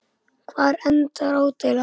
Hvar endar ádeila?